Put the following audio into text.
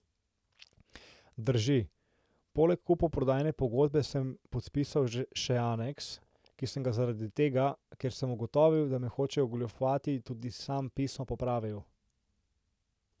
Drži, poleg kupoprodajne pogodbe sem podpisal še aneks, ki sem ga zaradi tega, ker sem ugotovil, da me hočejo ogoljufati, tudi sam pisno popravil.